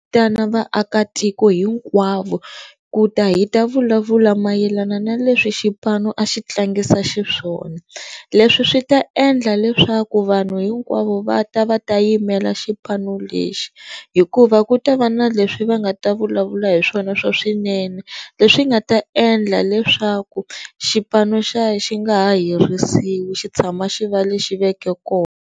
vaakatiko hinkwavo ku ta hi ta vulavula mayelana na leswi xipano a xi tlangisa xiswona leswi swi ta endla leswaku vanhu hinkwavo va ta va ta yimela xipano lexi hikuva ku ta va na leswi va nga ta vulavula hi swona swa swinene leswi nga ta endla leswaku xipano xi nga ha herisiwi xi tshama xi va lexi veke kona.